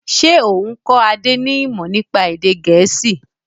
Ṣé o n kọ Adé ni imọ nípa èdè gẹ̀ẹ́sì?